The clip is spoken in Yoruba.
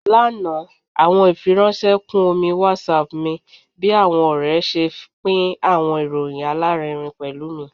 Lana, awọn ifiranṣẹ kun omi WhatsApp mi bi awọn ọrẹ ṣe pin awọn iroyin alarinrin pẹlu mi